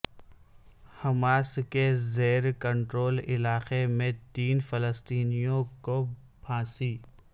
Hamas کے زیر control علاقے میں تین فلسطینیوں کو پھانسی